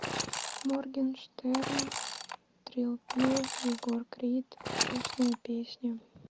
моргенштерн трилл пилл егор крид грустная песня